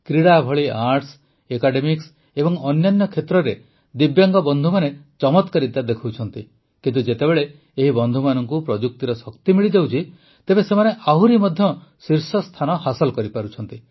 କ୍ରୀଡ଼ା ଭଳି arts academics ଏବଂ ଅନ୍ୟାନ୍ୟ କ୍ଷେତ୍ରରେ ଦିବ୍ୟାଙ୍ଗ ବନ୍ଧୁମାନେ ଚମତ୍କାରିତା ଦେଖାଉଛନ୍ତି କିନ୍ତୁ ଯେତେବେଳେ ଏହି ବନ୍ଧୁମାନଙ୍କୁ ପ୍ରଯୁକ୍ତିର ଶକ୍ତି ମିଳିଯାଉଛି ତେବେ ସେମାନେ ଆହୁରି ମଧ୍ୟ ଶୀର୍ଷ ସ୍ଥାନ ହାସଲ କରିପାରୁଛନ୍ତି